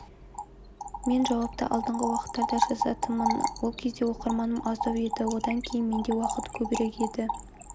мен жауапты алдыңғы уақыттарда жазатынмын ол кезде оқырманым аздау еді одан кейін менде уақыт көбірек еді